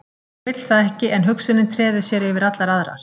Hún vill það ekki en hugsunin treður sér yfir allar aðrar.